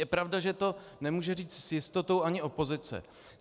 Je pravda, že to nemůže říct s jistotou ani opozice.